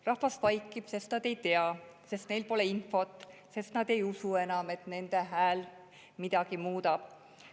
Rahvas vaikib, sest nad ei tea, sest neil pole infot, sest nad ei usu enam, et nende hääl midagi muudab.